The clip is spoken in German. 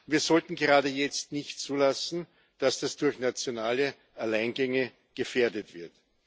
Wir sollten gerade jetzt nicht zulassen, dass das durch nationale Alleingänge gefährdet wird.